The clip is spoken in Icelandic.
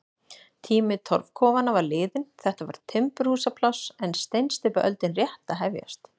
Tími torfkofanna var liðinn, þetta var timburhúsapláss en steinsteypuöldin rétt að hefjast.